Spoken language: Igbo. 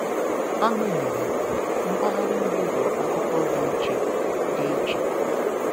Agbanyeghị, mpaghara ugwu bụ akụkọ dị iche. dị iche.